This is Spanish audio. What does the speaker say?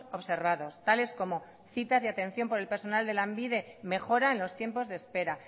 observados tales como citas de atención por el personal de lanbide mejora en los tiempos de espera